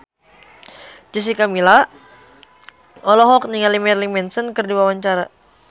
Jessica Milla olohok ningali Marilyn Manson keur diwawancara